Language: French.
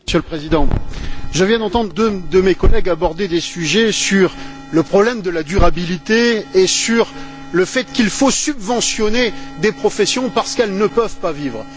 Monsieur le Président, je viens d'entendre deux de mes collègues aborder des sujets sur le problème de la durabilité et sur le fait qu'il faut subventionner des professions parce qu'elles ne peuvent pas vivre.